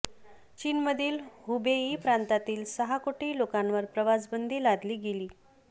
चीनमधील हुबेई प्रांतातील सहा कोटी लोकांवर प्रवासबंदी लादली गेली